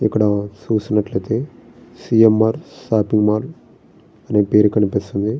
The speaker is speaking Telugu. ఇక్కడ చూసినట్లయితే C. M. R. Shopping mall అనే పేరు కనిపిస్తుంది.